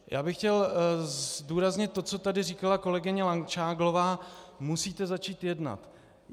Já bych chtěl zdůraznit to, co tady říkala kolegyně Langšádlová: musíte začít jednat.